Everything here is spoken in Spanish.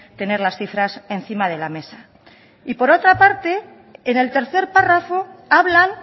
tener las cifras encima de la mesa y por otra parte en el tercer párrafo hablan